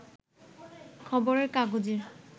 খবরের কাগজের